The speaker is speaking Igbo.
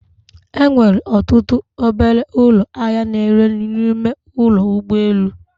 Enwere ọtụtụ obele ụlọ ahịa na ere nri n'ime ụlọ ụgbọ elu